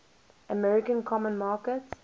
american common market